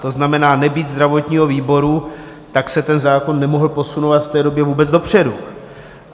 To znamená, nebýt zdravotního výboru, tak se ten zákon nemohl posunovat v té době vůbec dopředu.